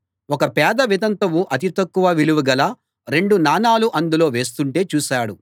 ఒక పేద వితంతువు అతి తక్కువ విలువగల రెండు నాణాలు అందులో వేస్తుంటే చూశాడు